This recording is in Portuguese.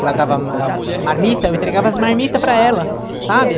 Ela dava ah marmita, eu entregava as marmitas para ela, sabe?